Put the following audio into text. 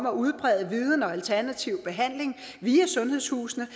at udbrede viden om alternativ behandling via sundhedshusene